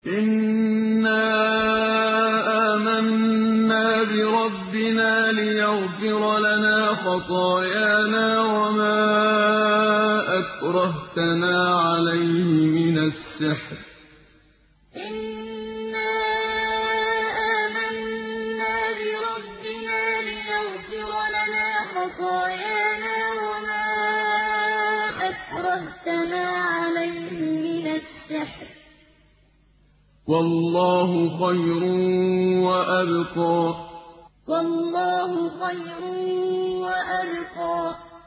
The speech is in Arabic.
إِنَّا آمَنَّا بِرَبِّنَا لِيَغْفِرَ لَنَا خَطَايَانَا وَمَا أَكْرَهْتَنَا عَلَيْهِ مِنَ السِّحْرِ ۗ وَاللَّهُ خَيْرٌ وَأَبْقَىٰ إِنَّا آمَنَّا بِرَبِّنَا لِيَغْفِرَ لَنَا خَطَايَانَا وَمَا أَكْرَهْتَنَا عَلَيْهِ مِنَ السِّحْرِ ۗ وَاللَّهُ خَيْرٌ وَأَبْقَىٰ